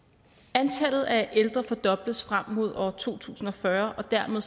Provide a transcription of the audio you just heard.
antallet af ældre fordobles frem mod år to tusind og fyrre og dermed